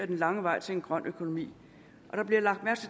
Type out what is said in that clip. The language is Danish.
den lange vej til en grøn økonomi